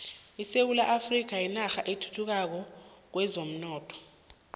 isewula afrika yinarha esathuthukako kwezomnotho